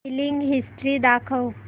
billing history दाखव